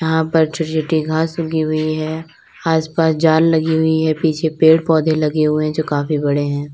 यहां पर छोटी छोटी घास उगी हुई है आसपास जाल लगी हुई है पीछे पेड़ पौधे लगे हुए जो काफी बड़े हैं।